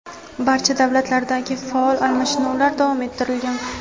barcha darajalardagi faol almashinuvlar davom ettirilgan.